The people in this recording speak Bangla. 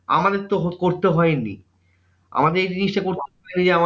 আমাদের তো করতে হয়নি। আমাদের এই জিনিসটা করতে হয় যে,